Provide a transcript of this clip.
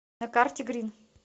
на карте грин